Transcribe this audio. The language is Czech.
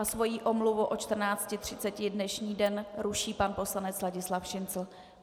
A svoji omluvu od 14.30 dnešní den ruší pan poslanec Ladislav Šincl.